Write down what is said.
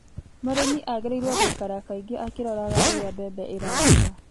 Mũrĩmi agĩrĩirwo gũikara kangĩ akĩroraga ũrĩa mbembe irakura